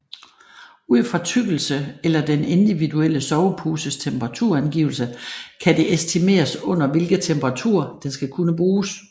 Ud fra tykkelse eller den individuelle soveposes temperaturangivelse kan det estimeres under hvilke temperaturer den skal kunne bruges